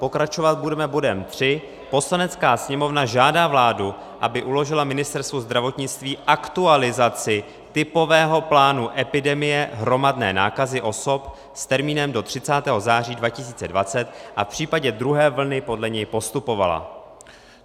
Pokračovat budeme bodem tři: "Poslanecká sněmovna žádá vládu, aby uložila Ministerstvu zdravotnictví aktualizaci typového plánu epidemie hromadné nákazy osob s termínem do 30. září 2020 a v případě druhé vlny podle něj postupovala."